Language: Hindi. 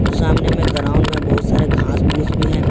और सामने में ग्राउंड में बहुत सारे घास फूस भी है।